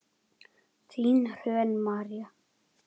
Þín Hrönn María.